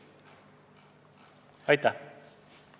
Aitäh!